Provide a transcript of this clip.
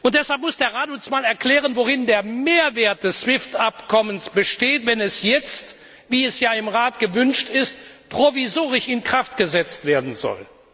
Deshalb muss der Rat uns erklären, worin der Mehrwert des SWIFT Abkommens besteht, wenn es jetzt wie es ja im Rat gewünscht ist provisorisch in Kraft gesetzt werden soll.